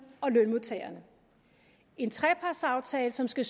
og lønmodtagerne en trepartsaftale som skal